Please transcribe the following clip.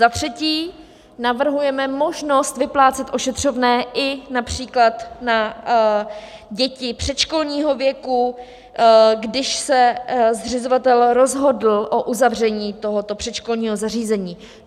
Za třetí navrhujeme možnost vyplácet ošetřovné i například na děti předškolního věku, když se zřizovatel rozhodl o uzavření tohoto předškolního zařízení.